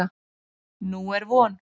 Nú er von.